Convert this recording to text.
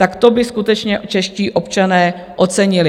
Tak to by skutečně čeští občané ocenili.